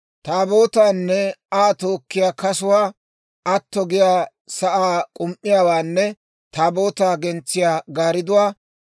Taabootaanne Aa tookkiyaa kasuwaa, atto giyaa sa'aa k'um"iyaawaanne Taabootaa gentsiyaa gaaridduwaa;